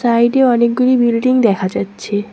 সাইডে অনেকগুলি বিল্ডিং দেখা যাচ্ছে।